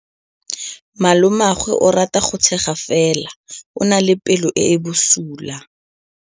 Malomagwe o rata go tshega fela o na le pelo e e bosula.